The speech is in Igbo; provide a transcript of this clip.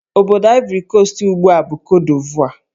Obodo Ivory Coast ugbu a bụ Cote d'Ivore